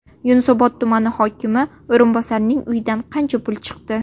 Yunusobod tumani hokimi o‘rinbosarining uyidan qancha pul chiqdi?